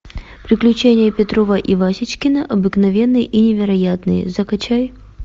приключения петрова и васечкина обыкновенные и невероятные закачай